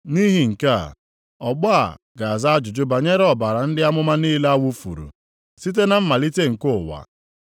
Nʼihi nke a, ọgbọ a ga-aza ajụjụ banyere ọbara ndị amụma niile a wufuru, site na mmalite nke ụwa,